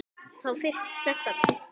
Þá fyrst sleppti hann mér.